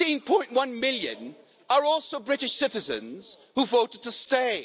16.1 million are also British citizens who voted to stay.